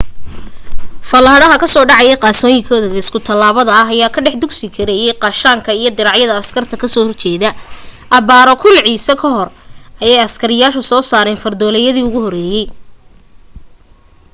fallaadhaha ka soo dhacaya qaansooyinkooda isku tallaabta ah ayaa ka dhex dusi karayay gaashaanka iyo diracyada askarta ka soo horjeeda abbaaro 1000 ciise ka hor ayay asiiriyaanku soo saareen fardoolaydii ugu horreysay